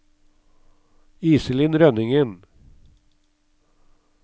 Iselin Rønningen